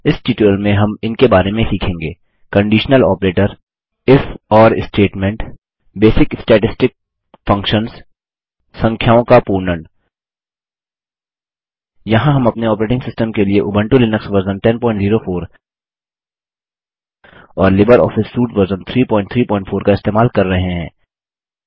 इस ट्यूटोरियल में हम इनके बारे में सीखेंगे conditional operator if or statement basic statistic functions संख्याओं का पूर्णन यहाँ हम अपने ऑपरेटिंग सिस्टम के लिए उबंटू लिनक्स वर्जन 1004 और लिबर ऑफिस सूट वर्ज़न 334 इस्तेमाल कर रहे हैं